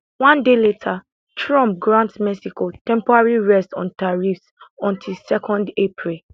one day later trump grant mexico temporary rest on tariffs until 2 april